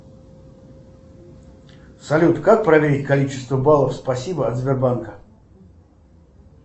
салют как проверить количество баллов спасибо от сбербанка